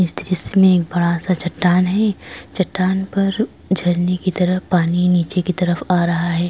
इस दृश्य में एक बड़ा सा चट्टान है चट्टान पर झरने की तरह पानी नीचे की तरफ आ रहा है।